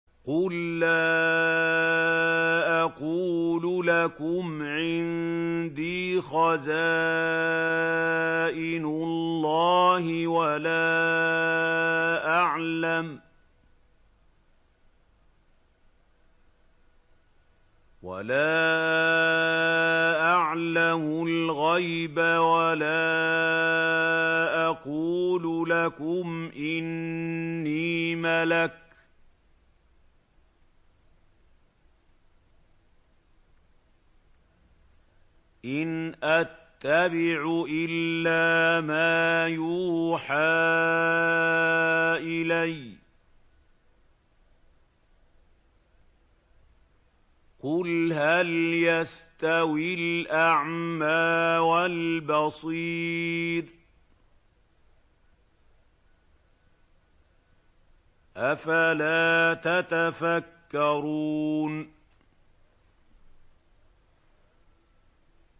قُل لَّا أَقُولُ لَكُمْ عِندِي خَزَائِنُ اللَّهِ وَلَا أَعْلَمُ الْغَيْبَ وَلَا أَقُولُ لَكُمْ إِنِّي مَلَكٌ ۖ إِنْ أَتَّبِعُ إِلَّا مَا يُوحَىٰ إِلَيَّ ۚ قُلْ هَلْ يَسْتَوِي الْأَعْمَىٰ وَالْبَصِيرُ ۚ أَفَلَا تَتَفَكَّرُونَ